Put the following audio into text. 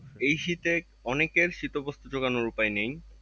এই শীতে অনেকের শীতবস্ত্র জাগানোর উপায় নেই।